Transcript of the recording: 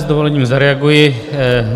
S dovolením zareaguji.